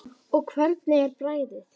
Og hvernig er bragðið?